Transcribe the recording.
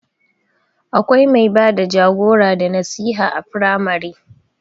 Akwai mai bada jagora da nasiha a firamare